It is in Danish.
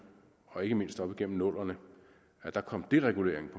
og ikke mindst op igennem nullerne at der kom deregulering